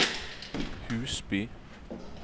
Husby